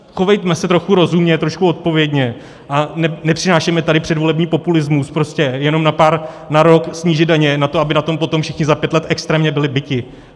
Chovejme se trochu rozumně, trošku odpovědně a nepřinášejme tady předvolební populismus prostě jenom na pár, na rok snížit daně, na to, aby na tom potom všichni za pět let extrémně byli biti.